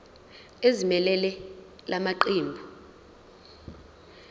ezimelele la maqembu